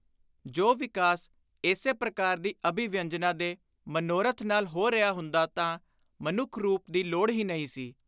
ਜੋ ਵਿਕਾਸ ਇਸੇ ਪ੍ਰਕਾਰ ਦੀ ਅਭਿਵਿਅੰਜਨਾ ਦੇ ਮਨੋਰਥ ਨਾਲ ਹੋ ਰਿਹਾ ਹੁੰਦਾ ਤਾਂ ਮਨੁੱਖ-ਰੂਪ ਦੀ ਲੋੜ ਹੀ ਨਹੀਂ ਸੀ।